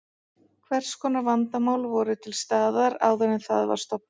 Hvers konar vandamál voru til staðar áður en það var stofnað?